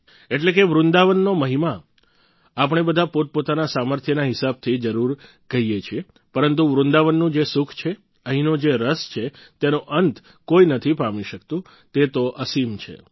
એટલે કે વૃંદાવનનો મહિમા આપણે બધા પોતપોતાના સામર્થ્યના હિસાબથી જરૂર કહીએ છીએ પરંતુ વૃંદાવનનું જે સુખ છે અહીંનો જે રસ છે તેનો અંત કોઈ નથી પામી શકતું તે તો અસિમ છે